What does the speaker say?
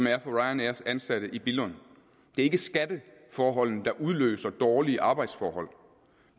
er for ryanairs ansatte i billund det er ikke skatteforholdene der udløser dårlige arbejdsforhold